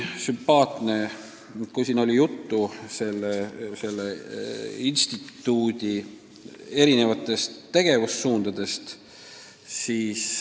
Siin oli juttu selle instituudi erinevatest tegevussuundadest.